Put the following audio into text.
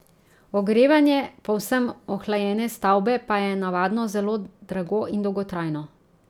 Ogrevanje povsem ohlajene stavbe pa je navadno zelo drago in dolgotrajno.